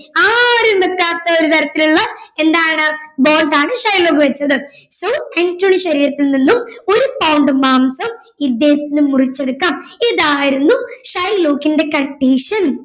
ആരും വെക്കാത്ത ഒരുതരത്തിലുള്ള എന്താണ് bond ആണ് ഷൈലോക്ക് വച്ചത് so അന്റോണിയോടെ ശരീരത്തിൽ നിന്നും ഒരു pound മാംസം ഇദ്ദേഹത്തിന് മുറിച്ചെടുക്കാം ഇതായിരുന്നു ഷൈലോക്കിന്റെ condition